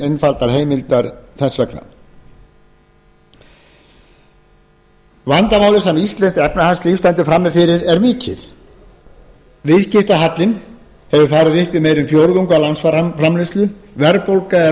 einfaldar heimildir þess vegna vandamálið sem íslenskt efnahagslíf stendur frammi fyrir er mikið viðskiptahallinn hefur farið upp í meira en fjórðung af landsframleiðslu verðbólga er